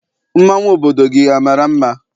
Mmanwụ obodo gị amara mma?